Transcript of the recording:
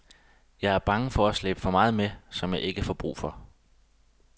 Jeg er bange for at slæbe for meget med, som jeg ikke får brug for.